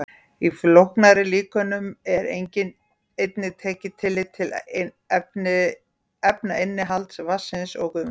Í flóknari líkönum er einnig tekið tillit til efnainnihalds vatnsins og gufunnar.